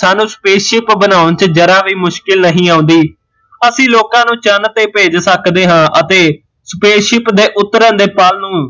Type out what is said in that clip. ਸਾਨੂ spaceship ਬਣਾਉਣ ਚ ਜ਼ਰਾ ਵੀ ਮੁਸ਼ਕਿਲ ਨਹੀਂ ਆਉਂਦੀ ਅਸੀਂ ਲੋਕਾਂ ਨੂੰ ਚੰਨ ਤੇ ਭੇਜ ਸਕਦੇ ਹਾਂ ਅਤੇ spaceship ਦੇ ਉਤਰਨ ਦੇ ਪਲ ਨੂੰ